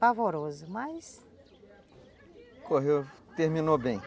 Pavorosa, mas... Correu, terminou bem.